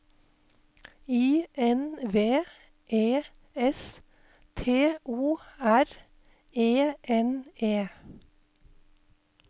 I N V E S T O R E N E